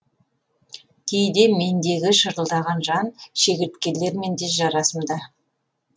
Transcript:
кейде мендегі шырылдаған жан шегірткелермен де жарасымда